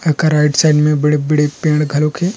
ओकर right side में बड़े बड़े पेड़ घर घलोक हे।